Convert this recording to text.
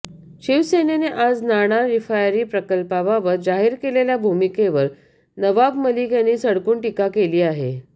शिवसेनेने आज नाणार रिफायनरी प्रकल्पाबाबत जाहीर केलेल्या भूमिकेवर नवाब मलिक यांनी सडकून टिका केली आहे